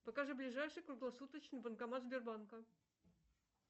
покажи ближайший круглосуточный банкомат сбербанка